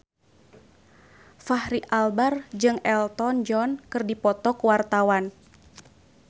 Fachri Albar jeung Elton John keur dipoto ku wartawan